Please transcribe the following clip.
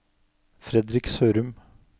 Fredrik Sørum